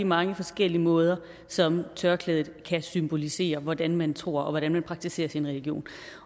mange forskellige måder som tørklædet kan symbolisere hvordan man tror og hvordan man praktiserer sin religion